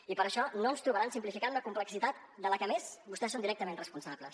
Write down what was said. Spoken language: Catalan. i per això no ens trobaran simplificant la complexitat de la que a més vostès són directament responsables